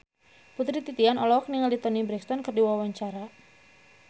Putri Titian olohok ningali Toni Brexton keur diwawancara